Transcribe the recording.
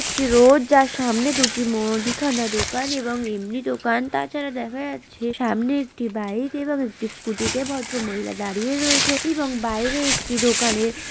একটি রোড যার সামনের দুটি মুদিখানা দোকান এবং এমনি দোকান তাছাড়া দেখা যাচ্ছে সামনে একটি বাইক এবং স্কুটি -তে ভদ্রমহিলা দাঁড়িয়ে রয়েছে এবং বাইরে একটি দোকানের --